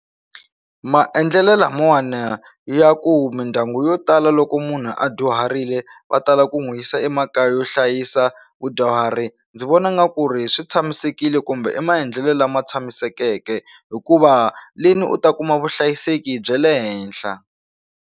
Maendlelo lamawani ya ku mindyangu yo tala loko munhu a dyuharile va tala ku n'wi yisa emakaya yo hlayisa vadyuhari ndzi vona nga ku ri swi tshamisekile kumbe i maendlelo lama tshamisekeke hikuva leni u ta kuma vuhlayiseki bya le henhla.